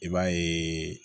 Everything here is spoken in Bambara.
I b'a ye